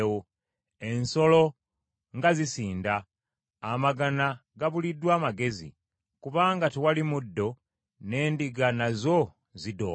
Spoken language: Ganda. Ensolo nga zisinda! Amagana gabuliddwa amagezi; kubanga tewali muddo, n’endiga nazo zidooba.